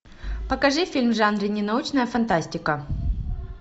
покажи фильм в жанре ненаучная фантастика